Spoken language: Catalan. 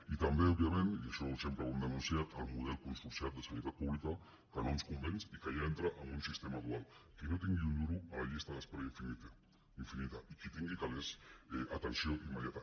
i també òbviament i ai·xò sempre ho hem denunciat el model consorciat de sanitat pública que no ens convenç i que ja entra en un sistema dual qui no tingui un duro a la llista d’es·pera infinita i qui tingui calés atenció immediata